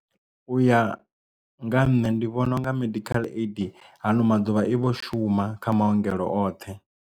U ya nga ha nṋe ndi vhona unga medical aid hano maḓuvha i vho shuma kha maongelo oṱhe.